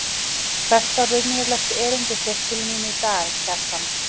Hvert var raunverulegt erindi þitt til mín í dag, Kjartan?